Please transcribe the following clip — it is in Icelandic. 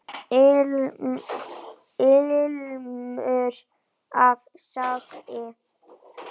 Ilmur af sagi.